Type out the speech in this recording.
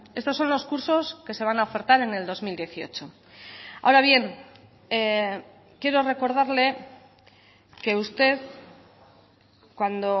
estos son los cursos que se van a ofertar en el dos mil dieciocho ahora bien quiero recordarle que usted cuando